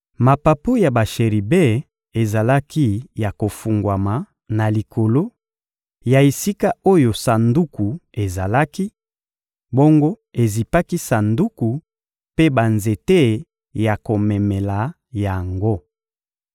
Mapapu ya basheribe ezalaki ya kofungwama na likolo ya esika oyo Sanduku ezalaki, bongo ezipaki Sanduku mpe banzete ya komemela yango.